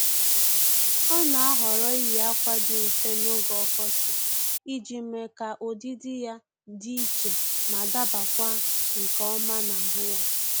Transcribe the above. Ọ́ nà-àhọ́rọ́ iyi ákwà dị mfe n’ógè ọkọchị iji mee ka ụ́dị́dị ya dị iche ma dabakwa nke ọma n'ahụ ya